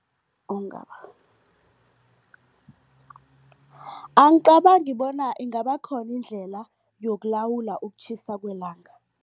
angicabangi bona ingabakhona indlela yokulawula ukutjhisa kwelanga.